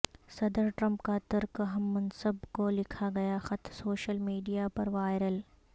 صدر ٹرمپ کا ترک ہم منصب کو لکھا گیا خط سوشل میڈیا پر وائرل